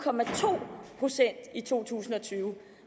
procent i to tusind og tyve